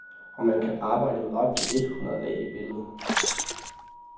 Og man kan arbejde med op til et hundrede lag i billedet.